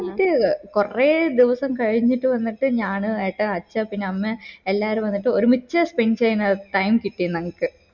ന്നിട്ട് കൊറേ ദിവസം കഴിഞ്ഞിട്ട് വന്നിട്ട് ഞാന് ഏട്ടാ അഛാ പിന്നെ അമ്മെ എല്ലാരും വന്നിട്ട് ഒരുമിച്ച് spend ചെയ്യുന്ന time കിട്ടിയേ ഞങ്ങക്ക്